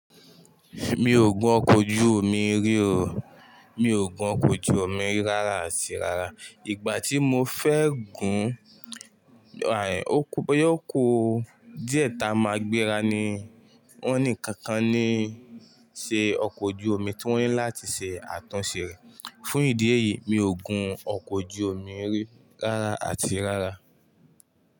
Mi ò gun ọkọ̀ ojú omi rí o. Mi ò gun ọkọ̀ ojú omi rárá àti rárá. Ìgbà tí mo fẹ́ gún un, ó kú díẹ̀ tá a máa gbéra ni wọ́n ní kankan ní ṣe ọkọ̀ ojú omi, tí wọ́n ní láti ṣe àtúnṣe rẹ̀. Fún ìdí èyí, mi ò gun ọkọ̀ ojú omi rí rárá àti rárá.